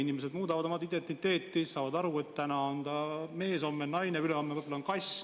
Inimesed ikka muudavad oma identiteeti: täna on ta mees, homme naine, ülehomme võib-olla kass.